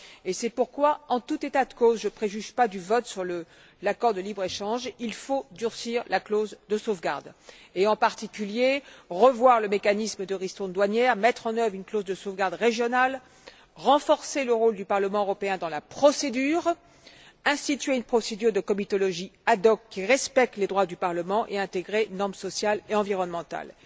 Et c'est pourquoi en tout état de cause je ne préjuge pas du vote sur l'accord de libre échange il faut durcir la clause de sauvegarde et en particulier revoir le mécanisme de ristournes douanières, mettre en œuvre une clause de sauvegarde régionale, renforcer le rôle du Parlement européen dans la procédure, instituer une procédure de comitologie ad hoc qui respecte les droits du Parlement et intégrer les normes sociales et environnementales.